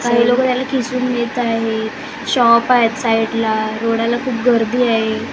काही लोकं ह्याला खिसून घेत आहेत शॉप आहेत साईडला रोडाला खूप गर्दी आहे.